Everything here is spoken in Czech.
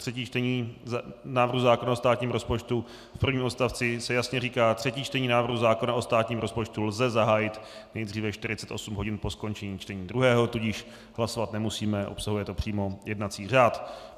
Třetí čtení návrhu zákona o státním rozpočtu v prvním odstavci se jasně říká: Třetí čtení návrhu zákona o státním rozpočtu lze zahájit nejdříve 48 hodin po skončení čtení druhého, tudíž hlasovat nemusíme, obsahuje to přímo jednací řád.